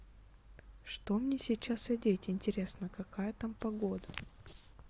что мне сейчас одеть интересно какая там погода